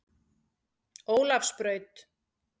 Ólafsbraut